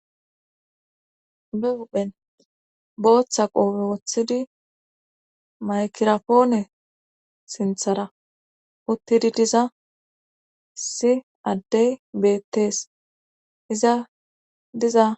be huphen booththa qoophe woththidi maykirapoone sinthara uttidi diza issi addey beettees iza diza